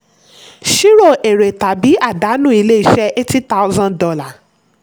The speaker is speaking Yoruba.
ṣírò èrè tàbí àdánù ilé-iṣẹ́ eighty thousand dollar